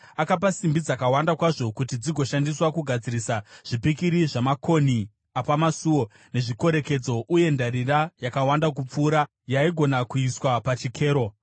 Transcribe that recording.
Akapa simbi dzakawanda kwazvo kuti dzigoshandiswa kugadzirisa zvipikiri zvamakonhi apamasuo nezvikorekedzo uye ndarira yakawanda kupfuura yaigona kuiswa pachikero.